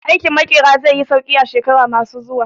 Aikin Maƙera zai yi sauƙi a shekaru ma su zuwa